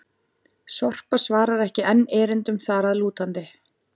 Sorpa svarar ekki enn erindum þar að lútandi!